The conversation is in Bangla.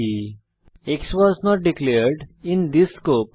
x was not declared in this scope